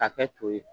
Ka kɛ to ye